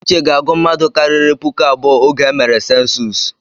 Uche ga-agu mmadụ karịrị puku abụọ oge emere sensus.